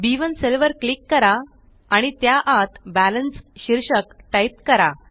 B one cell वर click करा आणि त्या आत बॅलन्स शीर्षक टाइप करा